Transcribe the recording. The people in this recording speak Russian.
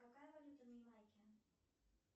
какая валюта на ямайке